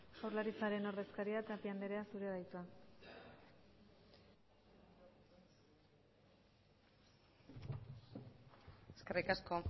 jaurlaritzaren ordezkaria tapia andrea zurea da hitza eskerrik asko